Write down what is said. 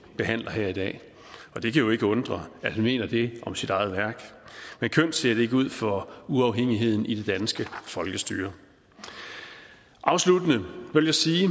behandler her i dag og det kan jo ikke undre at han mener det om sit eget værk men kønt ser det ikke ud for uafhængigheden i det danske folkestyre afsluttende vil jeg sige